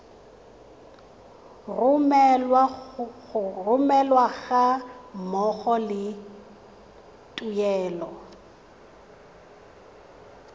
romelwa ga mmogo le tuelo